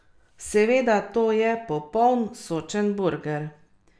Seveda, to je popoln, sočen burger.